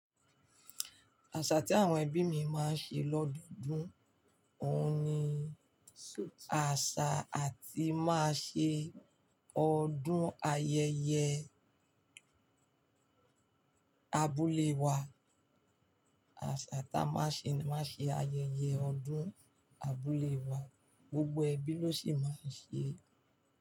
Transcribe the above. Àṣà tí àwọn ẹbí mi máa ń ṣe lọ́dọọdún, òun ni àṣà atí máa ṣe ọdún ayẹyẹ abúlé wa. Àṣà ta máa ṣe máa ṣe ayẹyẹ ọdún abúlé wa, gbogbo ẹbí ló sì máa ń ṣe é.